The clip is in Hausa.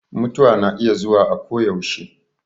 Mutuwa na iya zuwa akoyaushe.